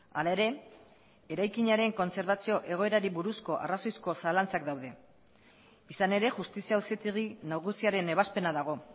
hala ere eraikinaren kontserbazio egoerari buruzko arrazoizko zalantzak daude izan ere justizia auzitegi nagusiaren ebazpena dago